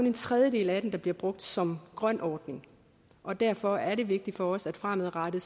en tredjedel af den der bliver brugt som grøn ordning og derfor er det vigtigt for os at det fremadrettet